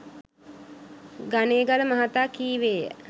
ගනේගල මහතා කීවේය.